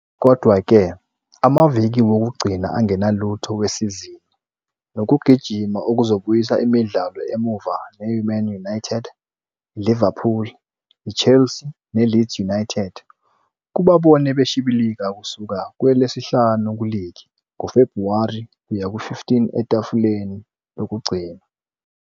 Kodwa-ke, amaviki wokugcina angenalutho wesizini nokugijima okuzobuyisa imidlalo emuva neMan United, iLiverpool, iChelsea neLeeds United kubabone beshibilika kusuka kowesihlanu kuligi ngoFebhuwari kuya ku-15 etafuleni lokugcina.